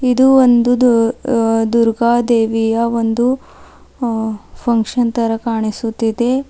ಇದು ಒಂದು ದು ದುರ್ಗಾದೇವಿಯ ಒಂದು ಅ ಫಂಕ್ಷನ್ ತರ ಕಾಣಿಸುತ್ತಿದೆ.